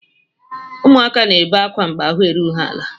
Ụmụaka na-ebe akwa mgbe ahụ erughị ha ala.